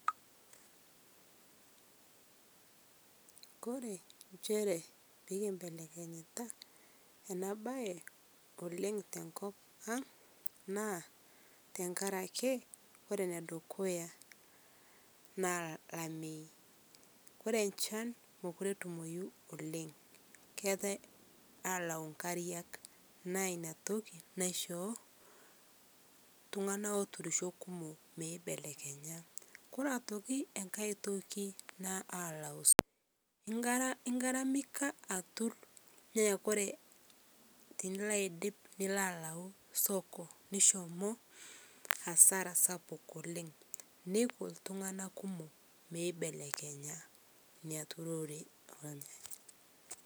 Kore enshere pikimbelekenyitaa ana bai oleng' tenkopang' naa tankarakee kore nedukuya naa lamei kore nchan mokuree etumoyu oleng' keata alau nkariak naa inia toki naishoo ltung'ana oturisho kumoo meibelekenya. Kore otoki eng'hai toki naa ing'aramika atur naa Kore tiniloo aidip niloo alau soko nishomoo hasara sapuk oleng' neiko ltungana kumoo meibelekenya inia turoree.